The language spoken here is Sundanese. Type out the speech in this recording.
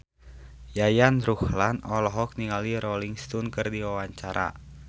Yayan Ruhlan olohok ningali Rolling Stone keur diwawancara